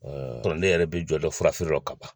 kɔnɔ ne yɛrɛ bɛ jɔ dɔ furafeere la ka ban.